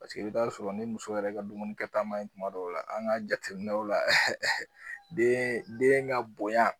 Paseke i bi ta sɔrɔ ni muso yɛrɛ ka dumuni kɛ ta ma ɲi tuma dɔw la an ga jateminɛw la den den ga bonya